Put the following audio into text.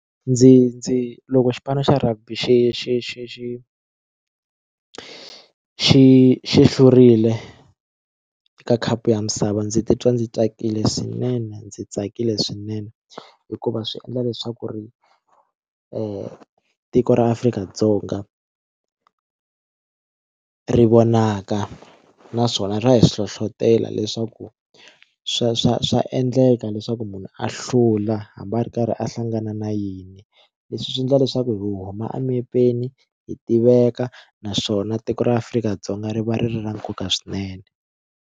Ndzi ndzi loko xipano xa rugby xi xi xi xi xi xi xi hlurile eka khapu ya misava ndzi titwa ndzi tsakile swinene ndzi tsakile swinene hikuva swi endla leswaku ri tiko ra Afrika-Dzonga ri vonaka naswona ra hi hlohlotelo leswaku swa swa swa endleka leswaku munhu a hlula hambi a ri karhi a hlangana na yini leswi swi endla leswaku hi huma emepeni hi tiveka naswona tiko ra Afrika-Dzonga ri va ri ri ra nkoka swinene.